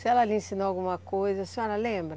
Se ela lhe ensinou alguma coisa, a senhora lembra?